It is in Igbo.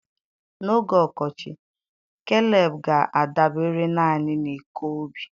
N'oge ọkọchị, Keleb ga-adabere naanị n'ịkọ ubi.